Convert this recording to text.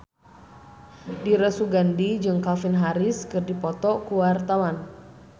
Dira Sugandi jeung Calvin Harris keur dipoto ku wartawan